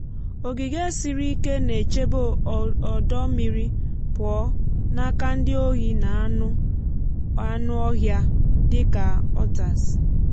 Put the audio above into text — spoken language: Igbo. ogige siri ike na-echebe ọdọ mmiri pụọ n’aka ndi ohi na anụ ọhịa dị ka otters